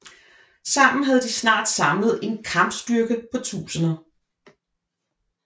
Sammen havde de snart samlet en kampstyrke på tusinder